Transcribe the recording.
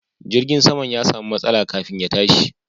Jirgin saman ya samu matsala kafin ya tashi.